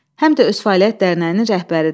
Həm də öz fəaliyyət dərnəyinin rəhbəridir.